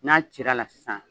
N'a cir'a la sisan